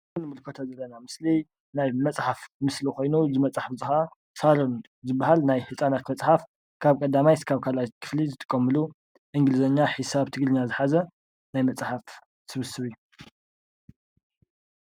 እዚ እንምልከቶ ዘለና ምስሊ ናይ መፅሓፍ ምስሊ ኮይኑ እዚ መፅሓፍ እዚ ክዓ ሳሮን ዝብሃል ናይ ህፃናት መፅሓፍ ካብ ቀዳማይ ክሳብ ካልኣይ ክፍሊ ዝጥቀሙሉ እንግሊዘኛ፣ ሒሳብ፣ ትግርኛ ዝሓዘ ናይ መፅሐፍቲ ስብስብ እዩ።